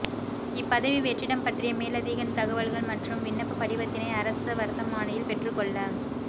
இப்பதவி வெற்றிடம் பற்றிய மேலதிக தகவல்கள் மற்றும் விண்ணப்பப் படிவத்தினை அரச வர்த்தமானியில் பெற்றுக்கொள்ள